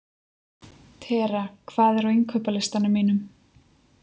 Tera, hvað er á innkaupalistanum mínum?